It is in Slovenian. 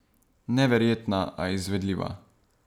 Neverjetna, a izvedljiva.